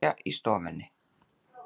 Þau sitja í stofunni.